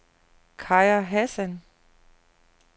Kaja Hassan